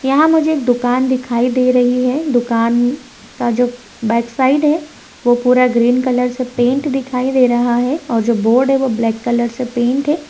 यहां मुझे एक दुकान दिखाई दे रही है। दुकान का जो बैक साइड है वो पूरा ग्रीन कलर से पेंट दिखाई दे रहा है और जो बोर्ड है वो ब्लैक कलर से पेंट है।